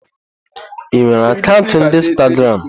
Ị nwere akaụntụ ndi Instagramu?